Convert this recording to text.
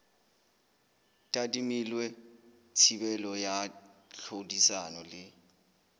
tadimilwe thibelo ya tlhodisano le